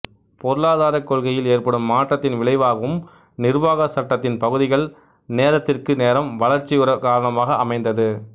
பொருளதாரக் கொள்கையில் ஏற்படும் மாற்றத்தின் விளைவாகவும் நிர்வாகச் சட்டத்தின் பகுதிகள் நேரத்திற்கு நேரம் வளர்ச்சியுரக் காரணமாக அமைந்தது